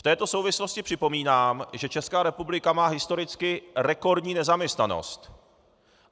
V této souvislosti připomínám, že Česká republika má historicky rekordní nezaměstnanost.